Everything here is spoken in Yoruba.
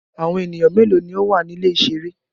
Awọn eniyan melo ni o wa ni ile-iṣere?